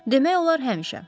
Demək olar həmişə.